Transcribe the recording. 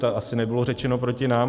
To asi nebylo řečeno proti nám.